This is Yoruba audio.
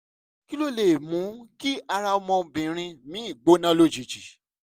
kí ló lè lè mú kí ara ọmọbìnrin mi gbóná lójijì?